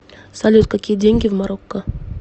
салют какие деньги в марокко